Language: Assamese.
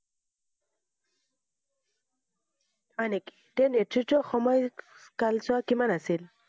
হয় নেকি? তেওঁৰ নেতৃত্বৰ সময় কালছোৱা কিমান আছিল?